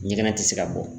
Ɲɛgɛn tɛ se ka bɔ